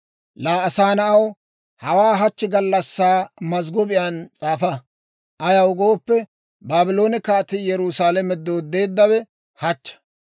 «Laa asaa na'aw, hawaa hachchi gallassaa mazggobiyaan s'aafa. Ayaw gooppe, Baabloone kaatii Yerusaalame dooddeeddawe hachcha.